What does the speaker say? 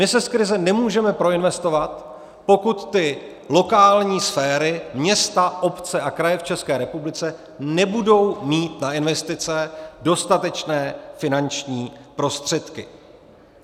My se z krize nemůžeme proinvestovat, pokud ty lokální sféry, města, obce a kraje v České republice, nebudou mít na investice dostatečné finanční prostředky.